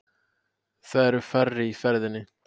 Það eru færri á ferðinni